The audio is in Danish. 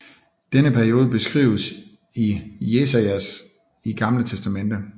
Denne periode beskrives i Jesajas i Gamle Testamente